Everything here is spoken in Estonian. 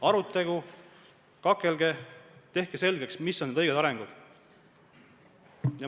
Arutlege, kakelge ja tehke selgeks, mis on õige areng.